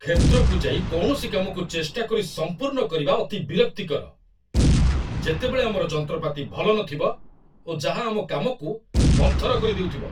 କ୍ଷେତ୍ରକୁ ଯାଇ କୌଣସି କାମକୁ ଚେଷ୍ଟା କରି ସମ୍ପୁର୍ଣ୍ଣ କରିବା ଅତି ବିରକ୍ତିକର, ଯେତେବେଳେ ଆମର ଯନ୍ତ୍ରପାତି ଭଲ ନଥିବ ଓ ଯାହା ଆମ କାମକୁ ମନ୍ଥର କରିଦେଉଥିବ।